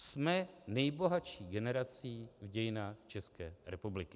Jsme nejbohatší generací v dějinách České republiky.